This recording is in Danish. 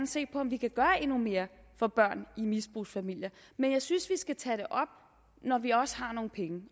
se på om vi kan gøre endnu mere for børn i misbrugsfamilier men jeg synes vi skal tage det op når vi også har nogle penge